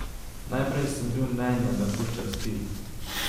Najprej sem bil mnenja, da kuščar spi.